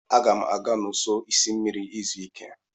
Aga m aga n'ụsọ osimiri izu ike.